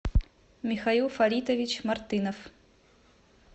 михаил фаритович мартынов